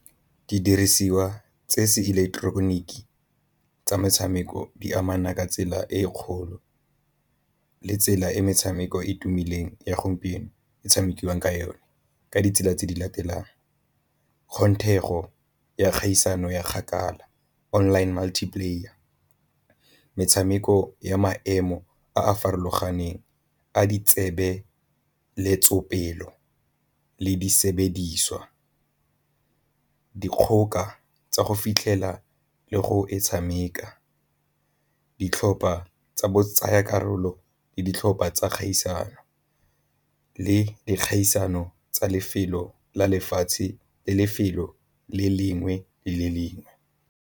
Didirisiwa tse se ileketeroniki tsa metshameko di amana ka tsela e e kgolo le tsela e metshameko e e tumileng ya gompieno e tshamekiwang ka yone ka ditsela tse di latelang ya kgaisano ya kgakala, online multiplayer metshameko ya maemo a a farologaneng, a di tsebe le di sebediswa, dikgoka tsa go fitlhela le go e tshameka, ditlhopha tsa bo tsaya karolo le ditlhopha tsa kgaisano le dikgaisano tsa lefelo la lefatshe le lefelo le lengwe le lengwe.